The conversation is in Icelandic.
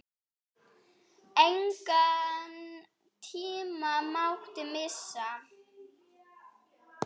Engan tíma mátti missa.